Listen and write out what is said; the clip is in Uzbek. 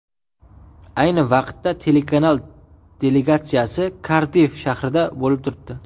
Ayni vaqtda telekanal delegatsiyasi Kardiff shahrida bo‘lib turibdi.